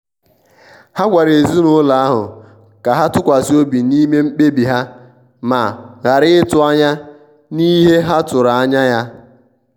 ha gwara ezinụlọ ahụ ka ha tụkwasi obi n'ime mkpebi ha ma ghara ịtụ anya n'ihe ha tụrụ anya ya.